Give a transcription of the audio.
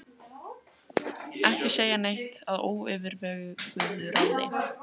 Ekki segja neitt að óyfirveguðu ráði!